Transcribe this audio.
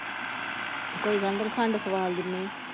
ਕੋਈ ਗੱਲ ਨੀ ਤੈਨੂੰ ਖੰਡ ਖਵਾਲ ਦਿੰਦੇ ਆ।